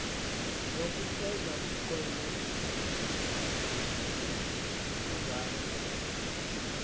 yokufeza umnqweno nokuzala